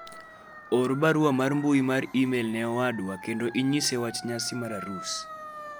or barua mar mbui mar email ne owadwa kendo inyise wach nyasi mar arus